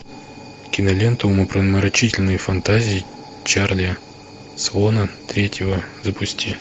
кинолента умопомрачительные фантазии чарли свона третьего запусти